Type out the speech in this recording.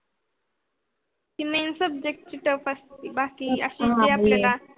main subject tuff असते. बाकी आपल्या